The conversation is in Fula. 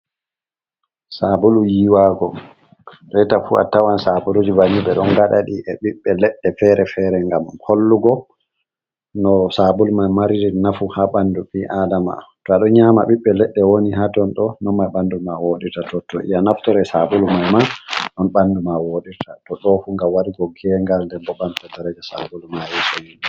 Sabulu yiwago reta fu attawan sabuluji banin ɓe ɗon gadadi e ɓiɓbe ledde fere-fere gam hollugo no sabulu mai mariri nafu ha ɓandu ɓiadama, to aɗo nyama ɓiɓɓe leɗɗe woni hatonɗo nonma ɓandu ma wodita totto iya naftore sabulu mai man non ɓandu ma wodita to ɗo fugam wadirigo gengal nder ɓo ɓamta dareja sabulu mari sosai.